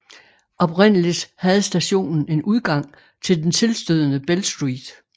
Oprindeligt havde stationen en udgang til den tilstødende Bell Street